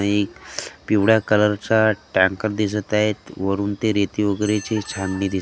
एक पिवळ्या कलरचा टँकर दिसत आहेत वरुन ते रेती वगेरेची छाननी दिस --